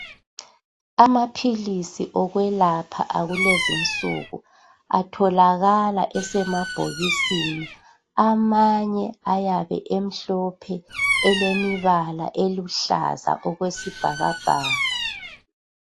Amaphilisi okwelapha akulenzinsuku atholakala esemabhokisini , amanye ayabe emhlophe elemibala eluhlaza okwesibhakabhaka.